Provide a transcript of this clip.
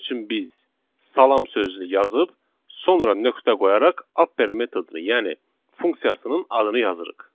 Bunun üçün biz salam sözünü yazıb, sonra nöqtə qoyaraq Apper metodunu, yəni funksiyasının adını yazırıq.